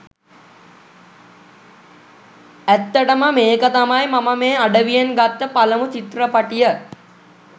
ඇත්තටම මේක තමයි මම මේ අඩවියෙන් ගත්ත පලමු චිත්‍රපටිය.